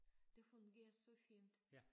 Det fungerer så fint